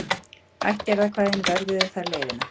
Ættjarðarkvæðin vörðuðu þar leiðina.